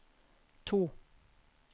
to